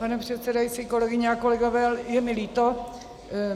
Pane předsedající, kolegyně a kolegové, je mi líto.